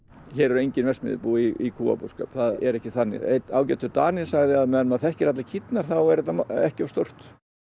hér eru engin verksmiðjubú í kúabúskap það er ekki þannig einn ágætur Dani sagði að á meðan maður þekkir allar kýrnar þá er þetta ekki of stórt